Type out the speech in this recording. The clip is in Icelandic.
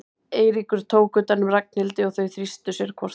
Eiríkur tók utan um Ragnhildi og þau þrýstu sér hvort að öðru.